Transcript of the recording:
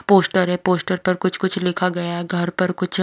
poster है poster पर कुछ-कुछ लिखा गया है घर पर कुछ--